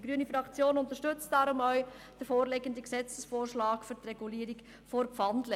Die grüne Fraktion unterstützt darum den vorliegenden Gesetzesvorschlag zur Regulierung der Pfandleihe.